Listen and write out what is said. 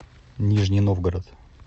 нижний новгород